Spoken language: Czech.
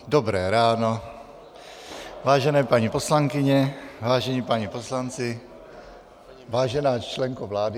Je 9.00, dobré ráno, vážené paní poslankyně, vážení páni poslanci, vážená členko vlády .